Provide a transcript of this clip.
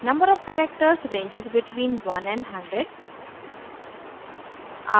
number of characters ranges between one and hundred